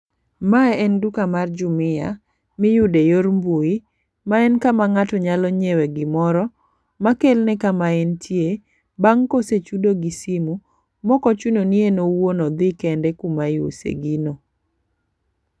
Mae en duka mar jumuia miyude yor mbui. Ma en kama ng'ato nyalo nyiewe gimoro makelne kama entie bang' kosechudo gi simu mok ochuno ni en owuon odhi kende kuma iuse gino.